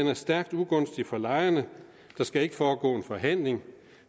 er stærkt ugunstig for lejerne der skal ikke foregå en forhandling